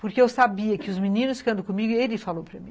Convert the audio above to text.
Porque eu sabia que os meninos que andam comigo, ele falou para mim.